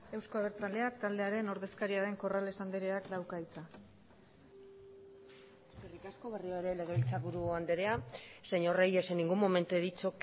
euzko abertzaleak taldearen ordezkaria den corrales andreak dauka hitza eskerrik asko berriro ere legebiltzarburu andrea señor reyes en ningún momento he dicho